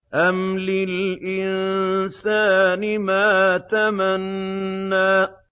أَمْ لِلْإِنسَانِ مَا تَمَنَّىٰ